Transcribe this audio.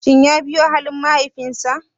Shin ya biyo halin mahaifinsa?